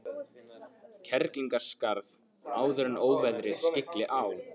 Kerlingarskarð áður en óveðrið skylli á.